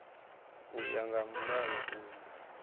u ya nga mulayo uyu